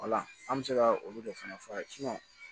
an bɛ se ka olu de fana fɔ a ye